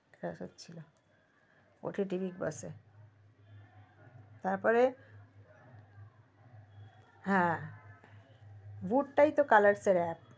এরা সবে ছিল ott platform এ তার পরে হ্যা voot টাই তো colors এর app